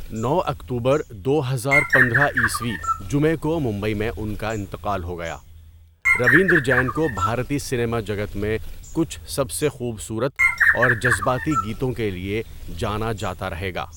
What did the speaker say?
نو اکتوبر، دو ہزار پندرہ عیسوی جمعے کو مُنبئی میں اُن کا انتقال ہو گیا روِندْر جَین کو بھارتِی سِنیما جگت میں کُچھ سب سے خوبصورت اَور جذباتی گِیتوں کے لِئے جانا جاتا رہیگا.